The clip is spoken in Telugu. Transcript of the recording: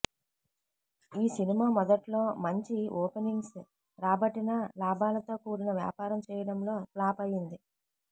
ఈ సినిమా మొదట్లో మంచి ఓపెనింగ్స్ రాబట్టినా లాభాలతో కూడిన వ్యాపారం చేయడంలో ఫ్లాప్ అయ్యింది